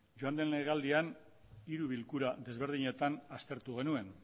joan den legealdian hiru bilkura desberdinetan aztertu genuen